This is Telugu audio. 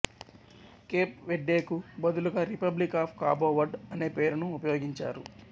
కేప్ వెర్డేకు బదులుగా రిపబ్లిక్ ఆఫ్ కాబో వర్డ్ అనే పేరును ఉపయోగించారు